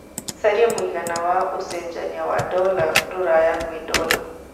carĩa mũigana wa ũcenjanĩa wa dola rũraya kwĩ dola